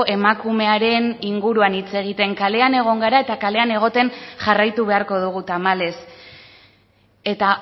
emakumearen inguruan hitz egiten kalean egon gara eta kalean egoten jarraitu beharko dugu tamalez eta